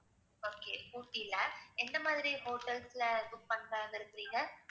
okay ஊட்டில எந்த மாதிரி hotels ல book பண்ணலாம்னு இருக்கிறீங்க?